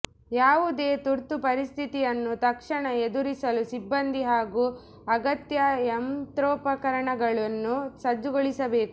ಯಾವುದೇ ತುರ್ತು ಪರಿಸ್ಥಿತಿಯನ್ನು ತಕ್ಷಣ ಎದುರಿಸಲು ಸಿಬ್ಬಂದಿ ಹಾಗೂ ಅಗತ್ಯ ಯಂತ್ರೋಪಕರಣಗಳನ್ನು ಸಜ್ಜುಗೊಳಿಸ ಬೇಕು